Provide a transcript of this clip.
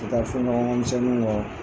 taa fɔɲɔgɔnkɔ misɛninw kɔ.